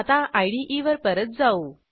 आता इदे वर परत जाऊ